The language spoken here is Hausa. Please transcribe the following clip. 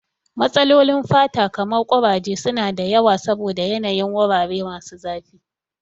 Matsalolin fata kamar kuraje su na da yawa saboda yanayin wurare masu zafi.